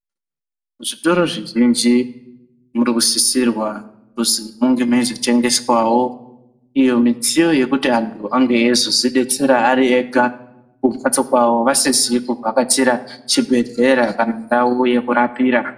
Kuzvitoro zvizhinji murikusisirwa kuzi kunge mweizotengeswawo iyo midziyo yekuti antu ange eizozvidetsera ari ega kumhatso kwavo vasizi kuvhakachira chibhedhlera kana ndau yekurapira.